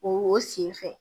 O sen fɛ